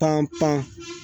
Pan pan